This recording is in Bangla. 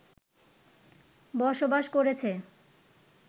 বসবাস করেছে